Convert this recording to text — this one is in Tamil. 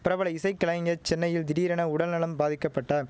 பிரபல இசைக்கலைஞர் சென்னையில் திடீரென உடல் நலம் பாதிக்க பட்டார்